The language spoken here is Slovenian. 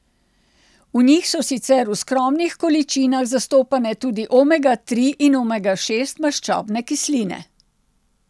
V njih so sicer v skromnih količinah zastopane tudi omega tri in omega šest maščobne kisline.